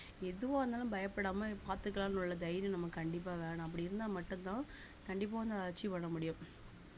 எதுவா இருந்தாலும் பயப்படாம பாத்துக்கலாம்னு உள்ள தைரியம் நமக்கு கண்டிப்பா வேணும் அப்படி இருந்தா மட்டும்தான் கண்டிப்பா வந்து achieve பண்ண முடியும்